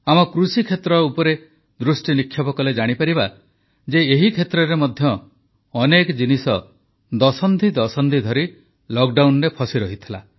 ଆମ କୃଷିକ୍ଷେତ୍ର ଉପରେ ଦୃଷ୍ଟିନିକ୍ଷେପ କଲେ ଜାଣିପାରିବା ଯେ ଏହି କ୍ଷେତ୍ରରେ ମଧ୍ୟ ଅନେକ ଜିନିଷ ଦଶନ୍ଧି ଦଶନ୍ଧି ଧରି ଲକଡାଉନରେ ଫସିରହିଥିଲା